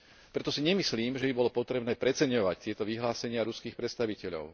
Preto si nemyslím, že by bolo potrebné preceňovať tieto vyhlásenia ruských predstaviteľov.